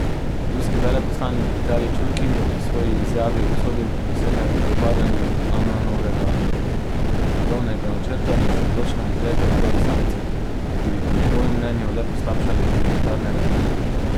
Ruski veleposlanik Vitalij Čurkin je v svoji izjavi obsodil besede o propadanju Annanovega mirovnega načrta in se odločno izrekel proti sankcijam, ki bi po njegovem mnenju le poslabšale humanitarne razmere.